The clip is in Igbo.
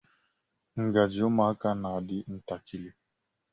Ngaji ụmụaka na-adị ntakịrị.